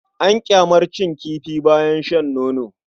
An ƙyamarcin kifi bayan shan nono.